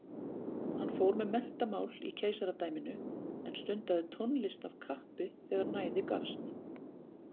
Hann fór með menntamál í keisaradæminu en stundaði tónlist af kappi þegar næði gafst.